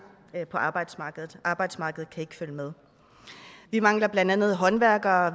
på arbejdsmarkedet arbejdsmarkedet kan ikke følge med vi mangler blandt andet håndværkere